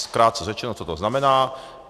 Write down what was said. Krátce řečeno, co to znamená.